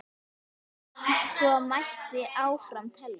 Svona mætti áfram telja.